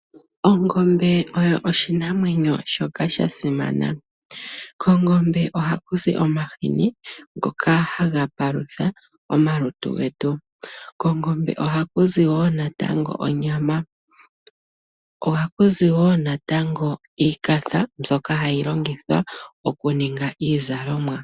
Ongombe oyo oshinamwenyo shoka shasimana ,kongombe oha kuzi omahini ngoka haga palutha omalutu getu, kongombe oha kuzi wo natango onyama ,oha kuzi wo natango iikafa mbyoka hayi longithwa okuninga iizalomwa.